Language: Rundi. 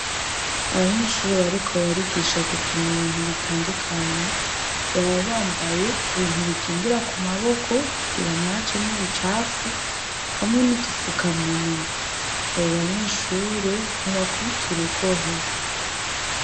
Abanyeshure bariko barigisha gupima ibintu bitandukanye baba bambaye ibintu bikingira kumaboko kugira ntihajemwo ubucafu hamwe d'udufukamunwa. Abo banyeshure ntibakubita urugohe.